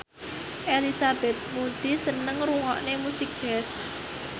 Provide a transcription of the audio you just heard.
Elizabeth Moody seneng ngrungokne musik jazz